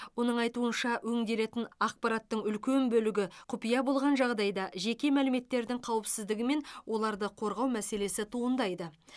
оның айтуынша өңделетін ақпараттың үлкен бөлігі құпия болған жағдайда жеке мәліметтердің қауіпсіздігі мен оларды қорғау мәселесі туындайды